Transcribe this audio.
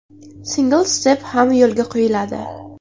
Single Step ham yo‘lga qo‘yiladi.